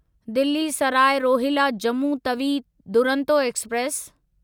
Delhi Sarai Rohilla Jammu Tawi Duronto express